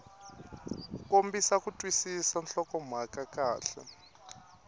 kombisa ku twisisa nhlokomhaka kahle